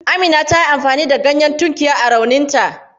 Amina ta yi amfani da ganyen tunkiya a rauninta.